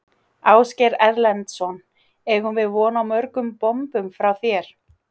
Ásgeir Erlendsson: Eigum við von á mörgum bombum frá þér?